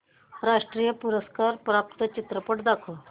राष्ट्रीय पुरस्कार प्राप्त चित्रपट दाखव